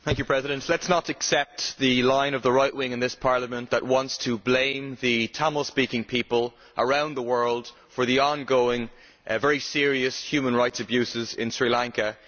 Mr President, let us not accept the line of the right wing in this Parliament that wants to blame the Tamil speaking people around the world for the ongoing and very serious human rights abuses in Sri Lanka.